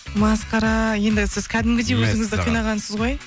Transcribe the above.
масқара ендігі сіз қәдімгідей өзіңізді қинағансыз ғой